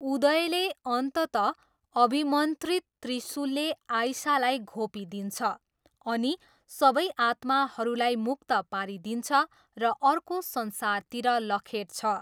उदयले अन्ततः अभिमन्त्रित त्रिसुलले आइसालाई घोपिदिन्छ अनि सबै आत्माहरूलाई मुक्त पारिदिन्छ र अर्को संसारतिर लखेट्छ।